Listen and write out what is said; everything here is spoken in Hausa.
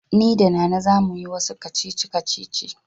Ni da Nana za mu yi wasu kacici-kacici.